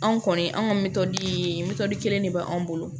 Anw kɔni an ka mitɔ ye mitɔn kelen de b'an bolo